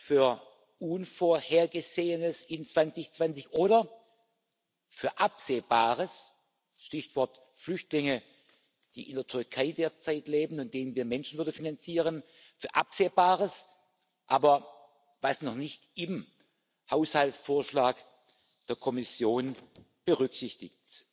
für Unvorhergesehenes im Jahr 2020 oder für Absehbares Stichwort Flüchtlinge, die derzeit in der Türkei leben und denen wir Menschenwürde finanzieren für Absehbares, das aber noch nicht im Haushaltsvorschlag der Kommission berücksichtigt